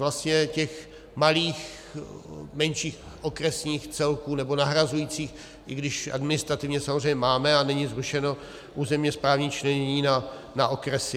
Vlastně těch malých, menších okresních celků, nebo nahrazujících, i když administrativně samozřejmě máme a není zrušeno územně správní členění na okresy.